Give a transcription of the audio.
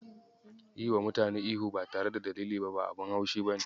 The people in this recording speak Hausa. Yiwa mutane ihu ba tare da dalili ba abun ban haushi ne.